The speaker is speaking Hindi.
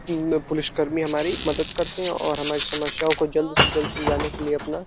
म् अ पुलिस कर्मी हमारी मदद करते हैं और हमारी समस्याओं को जल्द से जल्द सुलझाने के लिए अपना --